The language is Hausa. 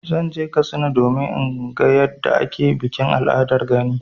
Zan je Katsina domin in ga yadda ake bikin al'adar gani.